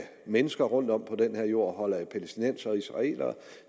mennesker rundt om på den her jord og holder af palæstinensere og israelere